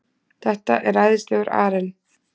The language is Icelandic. Þetta er æðislegur arinn.